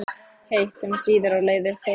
heitt, sem sýður á leið upp holuna.